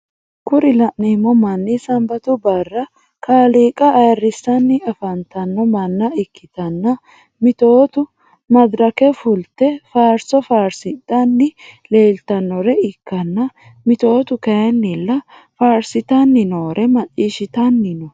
Kuri lanemo mani sanibatu bara kalika ayirisani afanitano manna ikitana mitotu madirake fulite fariso farisidhanni lelitanore ikana mitotu kayinila farisitanni norre machishshitani no.